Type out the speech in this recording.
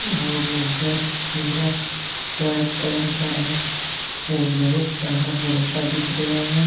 और घर पूरा वाइट कलर का है और बहुत सारा झरोखा दिख रिया है।